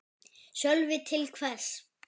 Sölvi: Til hvers?